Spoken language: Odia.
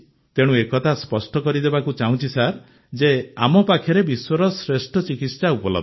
ତେଣୁ ଏକଥା ସ୍ପଷ୍ଟ କରିଦେବାକୁ ଚାହୁଁଛି ସାର୍ ଯେ ଆମ ପାଖରେ ବିଶ୍ୱର ଶ୍ରେଷ୍ଠ ଚିକିତ୍ସା ଉପଲବ୍ଧ